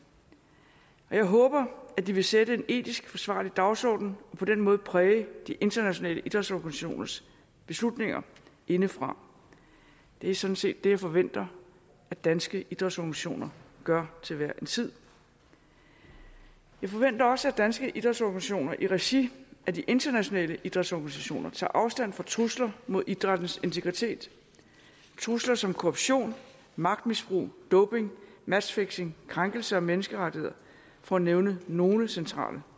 jeg håber at de vil sætte en etisk forsvarlig dagsorden og på den måde præge de internationale idrætsorganisationers beslutninger indefra det er sådan set det jeg forventer at danske idrætsorganisationer gør til hver en tid jeg forventer også at danske idrætsorganisationer i regi af de internationale idrætsorganisationer tager afstand fra trusler mod idrættens integritet trusler som korruption magtmisbrug doping matchfixing og krænkelser af menneskerettigheder for at nævne nogle centrale